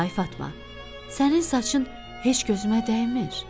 Ay Fatma, sənin saçın heç gözümə dəymir.